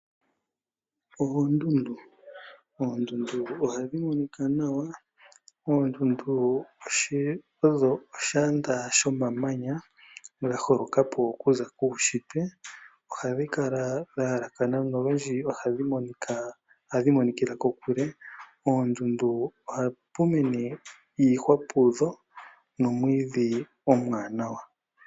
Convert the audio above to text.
Oondundu, oondundu ohadhi monika nawa. Oondundu odho oshiyanda shomamanya dha holokapi okuza kuushitwe . Ohadhi kala dha halakana nolundji ohadhi monikila kokule . Poondundu ohapu mene iihwa nomwiidhi omwaanawa.